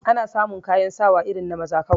Ana samu kayan sawa irin na maza kawai